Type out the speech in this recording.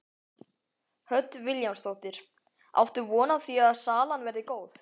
Hödd Vilhjálmsdóttir: Áttu von á því að salan verði góð?